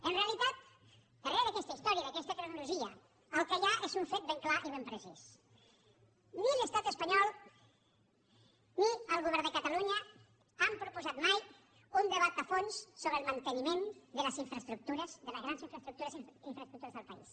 en realitat darrere d’aquesta història i d’aquesta cronologia el que hi ha és un fet ben clar i ben precís ni l’estat espanyol ni el govern de catalunya han proposat mai un debat a fons sobre el manteniment de les grans infraestructures del país